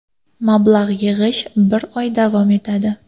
Mablag‘ yig‘ish bir oy davom etadi .